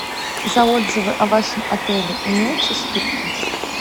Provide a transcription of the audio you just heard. за отзывы о вашем отеле имеются скидки